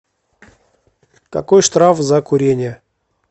какой штраф за курение